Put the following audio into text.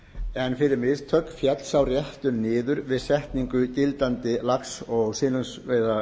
en fyrir mistök féll sá réttur niður við setningu gildandi lax og silungsveiðilaga